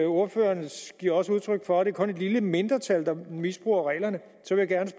ordføreren giver også udtryk for at det kun er et lille mindretal der misbruger reglerne